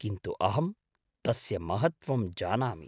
किन्तु अहं तस्य महत्त्वं जानामि।